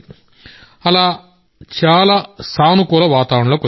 అలా చాలా మంచి పాజిటివ్ వాతావరణంలోకి వచ్చాం